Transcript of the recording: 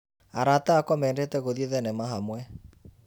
Arata akwa mendete gũthiĩ thenema hamwe.